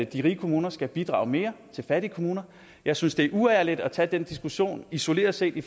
de rige kommuner skal bidrage mere til fattige kommuner jeg synes det er uærligt at tage den diskussion isoleret set i